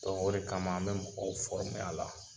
o de kama an bɛ mɔgɔw a la